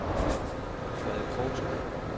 Frede Krogsgaard